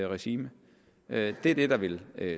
regime det er det der vil